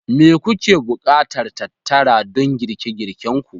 Me kuke buƙatar tattara don girke girkenku?